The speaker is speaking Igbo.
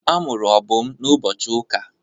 A mụrụ Obum n'ụbọchị ụka.